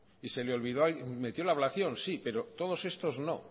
y se le olvidó metió la ablación sí pero todos estos no